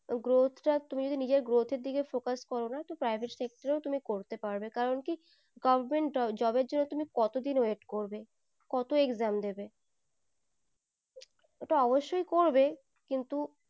growth টা তুমি যদি নিয়ে growth এর দিকে focus করো না তো private sector এও তুমি করতে পারবে কারণ কি government job এর জন্য কত দিন wait করবে কত exam দেবে ওটা অবসর করবে কিন্তু